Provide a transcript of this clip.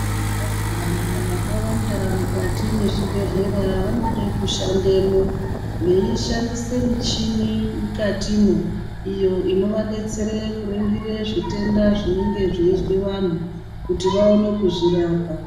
Vanhu vakawanda mukati mezvibhedhlera vanode kushandemo veishandisa michini mukatimwo iyo inovadetsere kuringire zvitenda zvinenge zveizwe vanhu kuti vaone kuzvirapa.